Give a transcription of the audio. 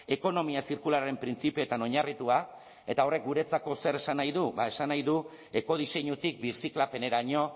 ekonomia zirkularraren printzipioetan oinarritua eta horrek guretzako zer esan nahi du bada esan nahi du ekodiseinutik birziklapeneraino